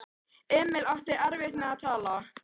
Emil átti erfitt með að tala.